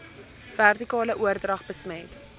vertikale oordrag besmet